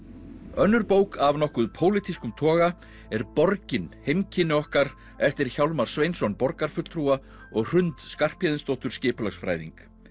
önnur bók af nokkuð pólitískum toga er borgin heimkynni okkar eftir Hjálmar Sveinsson borgarfulltrúa og Hrund Skarphéðinsdóttur skipulagsfræðing